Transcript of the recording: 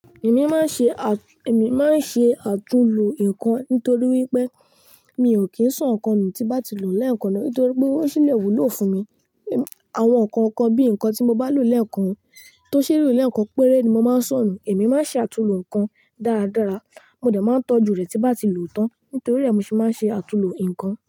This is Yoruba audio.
Èmi máa ń ṣe àtúnlo nǹkan nítorí wípé mi ò kìí so ǹkan nù tí n bá ti lò ó lẹ́ẹ̀kan náà. Nítorí pé ó ṣílẹ̀ wúlò fún mi. Àwọn ǹkan kan bí ǹkan tí mo bá lò lẹ́ẹ̀kan tó ṣe lo lẹ́ẹ̀kan péré ni mo máa ń sọ̀ nu. Èmi máa ń ṣe àtúnlo ǹkan dáradára. Mo dẹ̀ máa ń tọ́jú rẹ̀ tí nbá ti lò ó tán. Nítorí ẹ̀ ni mo ṣe máa ń ṣe àtúnlo ǹkan.